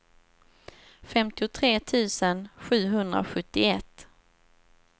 femtiotre tusen sjuhundrasjuttioett